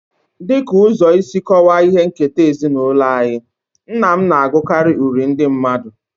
As a way of explaining our family heritage, my father I used to reciting folk poems.